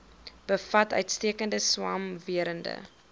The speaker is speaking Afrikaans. bevat uitstekende swamwerende